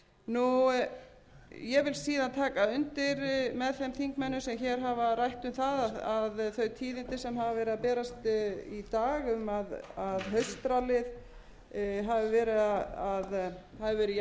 með þeim þingmönnum sem hér hafa rætt um það þau tíðindi sem hafa verið að berast í dag um að haustrallið hafi verið jákvætt og það séu jákvæð tíðindi út úr því og ég vil auðvitað segja að það veit